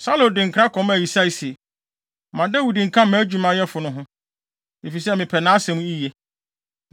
Na Saulo de nkra kɔmaa Yisai se, “Ma Dawid nka mʼadwumayɛfo no ho, efisɛ mepɛ nʼasɛm yiye.”